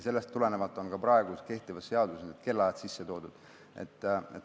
Sellest tulenevalt on ka kehtivas seaduses kellaajad sisse toodud.